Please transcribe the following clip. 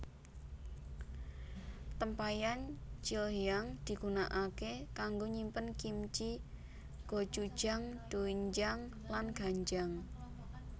Tempayan Chilhyang digunakake kanggo nyimpen kimchi gochujang doenjang lan ganjang